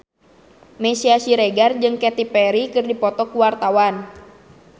Meisya Siregar jeung Katy Perry keur dipoto ku wartawan